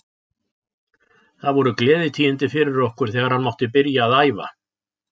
Það voru gleðitíðindi fyrir okkur þegar hann mátti byrja að æfa.